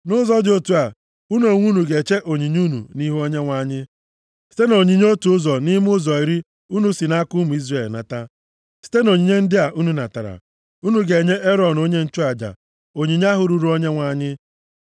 Nʼụzọ dị otu a, unu onwe unu ga-eche onyinye unu nʼihu Onyenwe anyị site nʼonyinye otu ụzọ nʼime ụzọ iri unu si nʼaka ụmụ Izrel nata. Site nʼonyinye ndị a unu natara, unu ga-enye Erọn onye nchụaja onyinye ahụ ruuru Onyenwe anyị.